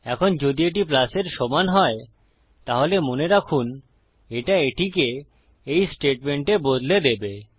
এখন যদি এটি প্লাস এর সমান হয তাহলে মনে রাখুন এটা এটিকে এই স্টেটমেন্টে বদলে দেবে